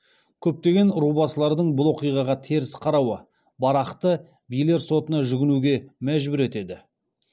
көптеген рубасылардың бұл оқиғаға теріс қарауы барақты билер сотына жүгінуге мәжбүр етеді